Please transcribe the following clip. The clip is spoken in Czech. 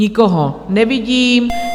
Nikoho nevidím.